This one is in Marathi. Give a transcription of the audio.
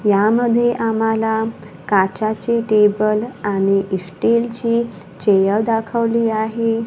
यामध्ये आम्हाला काचाचे टेबल आणि स्टीलची चेअर दाखवली आहे.